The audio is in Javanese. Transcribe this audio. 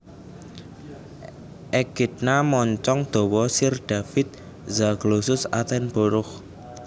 Ekidna moncong dawa Sir David Zaglossus attenborough